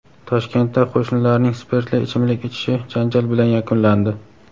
Toshkentda qo‘shnilarning spirtli ichimlik ichishi janjal bilan yakunlandi.